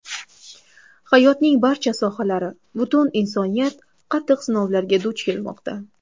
Hayotning barcha sohalari, butun insoniyat qattiq sinovlarga duch kelmoqda.